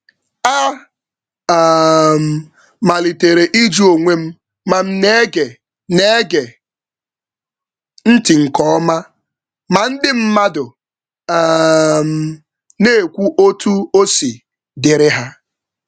M malitere ịjụ ihe mere na m ji gee ntị n’ezie mgbe ndị mmadụ na-ekesa mmetụta ha.